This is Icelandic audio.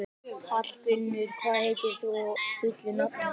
Hallgunnur, hvað heitir þú fullu nafni?